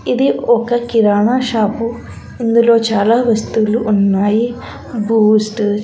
ఇది ఒక కిరాణా షాపు ఇందులో చాలా వస్తువులు ఉన్నాయి బూస్టు --